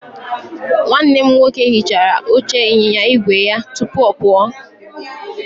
Nwanne m nwoke hichara oche ịnyịnya igwe ya tupu ọ pụọ.